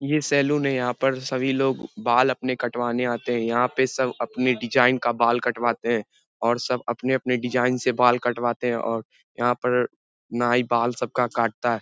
ये सैलून है यहाँ पर सब लोग अपने बाल कटवाने आते हैं यहां पे सब अपने डिजाइन का बाल कटवाते हैं और सब अपने-अपने डिजाइन से बाल कटवाते है और यहां पर नाई बाल सबका काटता है।